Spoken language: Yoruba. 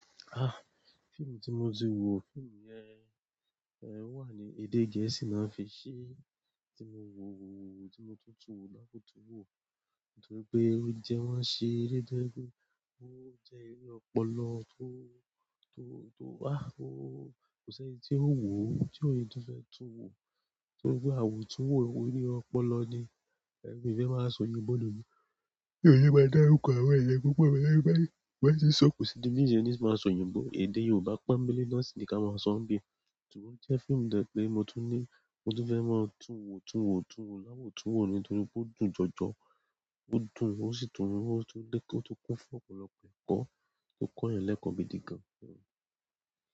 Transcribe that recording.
Ah! Fíìmù tí mo ti wò, fíìmù yẹn, eh o wa ni, èdè gẹ̀ẹ́sì ni wọn fi ṣe, ti mo wo wo wo, ti mo tun tunwo, ti mo tun wo toripe o jè wọn ṣere, to jẹ pe ó jẹ́ eré ọpọlọ tó, tó, tó ah! O kò sí ẹni tí ó wò ó, ti òní tun fẹ́ tún wò, nítorí pé awo tun wò iwo ní ọpọlọ ni, mi fẹ́ máa sọ oyínbo lo ni, mi o fẹ máa dáruko àwọn èèyàn púpọ̀ níbẹ̀ nítorí bi èèyàn ba ti ń sọ kò sí bi tí ṣeni máa sọ oyínbo, èdè Yorùbá ponbele lọ sì ni ká máa sọ ni bíi. Ṣùgbọ́n o jẹ́ fíìmù to jẹ pé mo tún ni, mo tún fẹ́ máa tún wò tún wò tún wò láwo tún wò ni nítorí pe o dùn jọjọ, o dùn, o sì tún, o tun kún fún ọ̀pọ̀lọpọ̀ ẹ̀kọ́ o kọ́ èèyàn lẹ́kọ̀ọ́ bi dígan.